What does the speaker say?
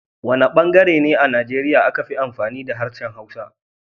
Wana bangare ne a Nigeria aka fi amfani da harshen Hausa?